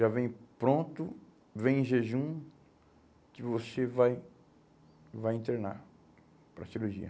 Já vem pronto, vem em jejum, que você vai vai internar para cirurgia.